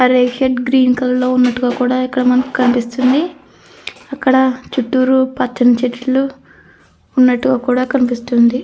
ఆ రేషేడ్ గ్రీన్ కలర్లో ఉన్నట్టుగా కూడా ఇక్కడ మనకు కనిపిస్తుంది అక్కడ చుట్టూరా పచ్చని చెట్లు ఉన్నట్టుగా కూడ కనిపిస్తుంది.